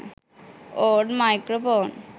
old microphone